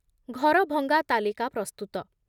ଘରଭଙ୍ଗା ତାଲିକା ପ୍ରସ୍ତୁତ